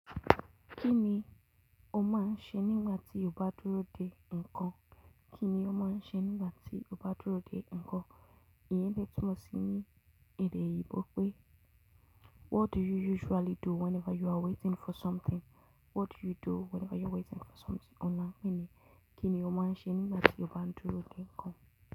Kí ni o máa ń ṣe nígbà tí o bá dúró dè nǹkan? Kí ni o máa ń ṣe nígbà tí o bá dúró dè nǹkan? Ìyẹn dẹ̀ tún mọ̀ sí ní èdè òyìnbó pé what do you usually do whenever you are waiting for something? What do you do whenever you are waiting for something? Ọ̀nà mini kínni ni o máa ń ṣe nígbà tí o bá ń dúró de nǹkan?